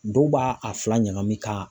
Dɔw b'a a fila ɲagamin ka